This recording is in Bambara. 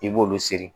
I b'olu siri